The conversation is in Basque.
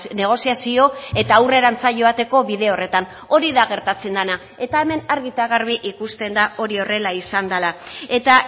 negoziazio eta aurrerantz joateko bide horretan hori da gertatzen dena eta hemen argi eta garbi ikusten da hori horrela izan dea eta